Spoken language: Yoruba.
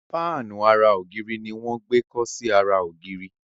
Fáànù àrà ògiri ní wón gbé kò sì ara ògiri.